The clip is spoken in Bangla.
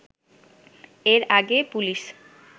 এর আগে পুলিশ